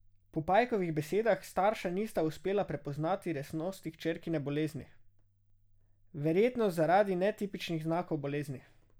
Po Pajkovih besedah starša nista uspela prepoznati resnosti hčerkine bolezni, verjetno zaradi netipičnih znakov bolezni.